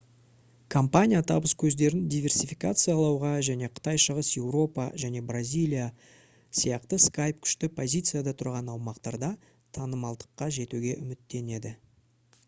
компания табыс көздерін диверсификациялауға және қытай шығыс еуропа және бразилия сияқты skype күшті позицияда тұрған аумақтарда танымалдыққа жетуге үміттенеді